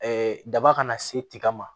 daba kana se tiga ma